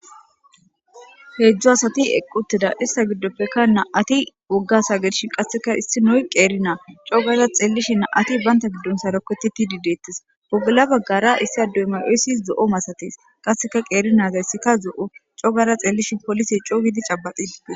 heedzdzu asati equttida ista giddoppekka na7ati wogasa gershi qasseka issi noy qeeri naa cogara xeellishi na7ati baynta giddon saroketi ti di deettes wogula baggara issi ado emay7oysis zo7o masatees qasseka qeeri naazayssika zo7o cogara xeellishi polise cooygidi cabaqie